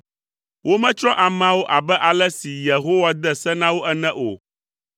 Wometsrɔ̃ ameawo abe ale si Yehowa de se na wo ene o,